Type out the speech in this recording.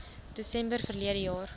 desember verlede jaar